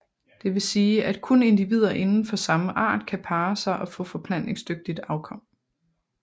Det vil sige at kun individer inden for samme art kan parre sig og få forplantningsdygtigt afkom